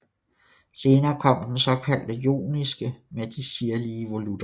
Senere kom den såkaldt joniske med de sirlige volutter